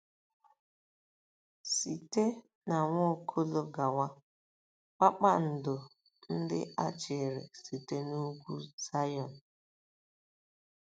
Site n'Nwaokolo gawa, “kpakpando” ndị a chịrị site n'Ugwu Zayọn.